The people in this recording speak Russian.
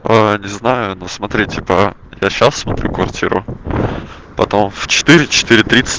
не знаю но смотрите по я сейчас в квартиру потом в четыре четыре тридцать